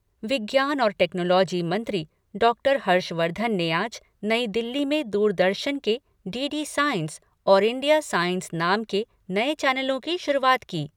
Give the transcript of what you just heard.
विज्ञान और टेक्नोलोजी मंत्री डाक्टर हर्षवर्धन ने आज नई दिल्ली में दूरदर्शन के डी डी साइंस और इंडिया साइंस नाम के नए चैनलों की शुरूआत की।